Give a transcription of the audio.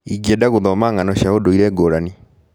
Ingĩenda gũthoma ng'ano cia ũndũire ngũrani.